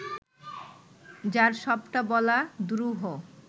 যার সবটা বলা দুরূহ